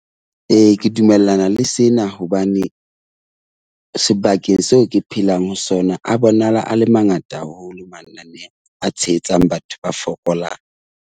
Ee, ke dumellana le sena hobane sebakeng seo ke phelang ho sona a bonahala a le mangata haholo mananeo a tshehetsang batho ba fokolang.